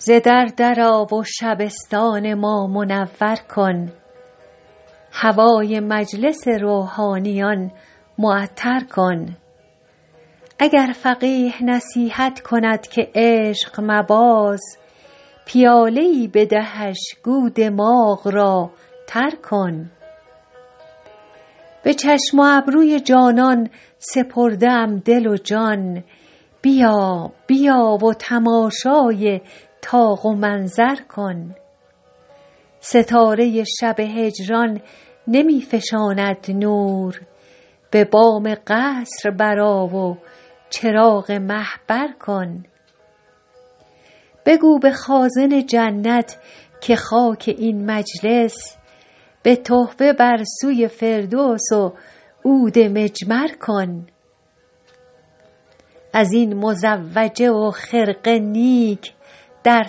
ز در در آ و شبستان ما منور کن هوای مجلس روحانیان معطر کن اگر فقیه نصیحت کند که عشق مباز پیاله ای بدهش گو دماغ را تر کن به چشم و ابروی جانان سپرده ام دل و جان بیا بیا و تماشای طاق و منظر کن ستاره شب هجران نمی فشاند نور به بام قصر برآ و چراغ مه بر کن بگو به خازن جنت که خاک این مجلس به تحفه بر سوی فردوس و عود مجمر کن از این مزوجه و خرقه نیک در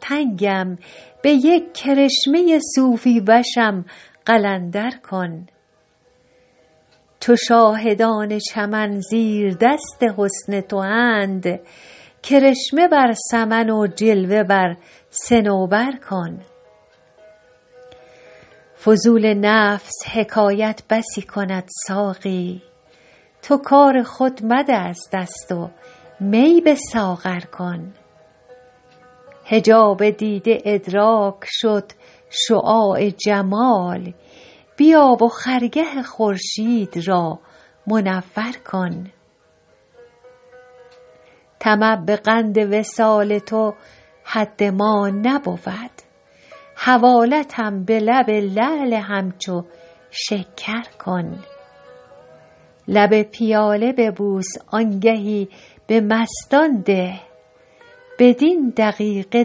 تنگم به یک کرشمه صوفی وشم قلندر کن چو شاهدان چمن زیردست حسن تواند کرشمه بر سمن و جلوه بر صنوبر کن فضول نفس حکایت بسی کند ساقی تو کار خود مده از دست و می به ساغر کن حجاب دیده ادراک شد شعاع جمال بیا و خرگه خورشید را منور کن طمع به قند وصال تو حد ما نبود حوالتم به لب لعل همچو شکر کن لب پیاله ببوس آنگهی به مستان ده بدین دقیقه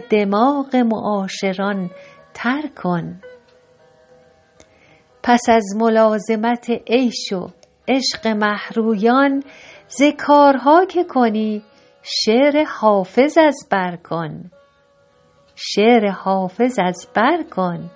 دماغ معاشران تر کن پس از ملازمت عیش و عشق مه رویان ز کارها که کنی شعر حافظ از بر کن